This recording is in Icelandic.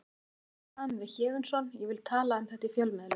Við erum í viðræðum við Héðinsson ég vil ekki tala um þetta í fjölmiðlum.